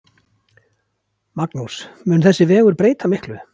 Magnús: Mun þessi vegur breyta miklu?